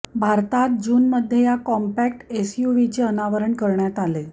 भारतात जूनमध्ये या कॉम्पॅक्ट एसयूव्हीचे अनावरण करण्यात आले